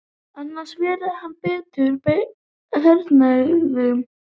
Annars verði hann beittur hernaðaraðgerðum